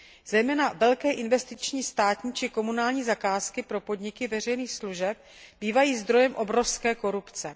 Zejména velké investiční státní či komunální zakázky pro podniky veřejných služeb bývají zdrojem obrovské korupce.